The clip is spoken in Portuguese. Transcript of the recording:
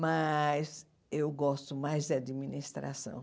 Mas eu gosto mais da administração.